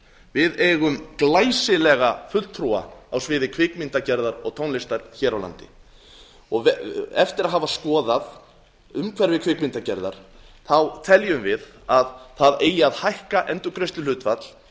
við eigum glæsilega fulltrúa á sviði kvikmyndagerðar og tónlistar hér á landi eftir að hafa skoðað umhverfi kvikmyndagerðar þá teljum við að það eigi að hækka endurgreiðsluhlutfall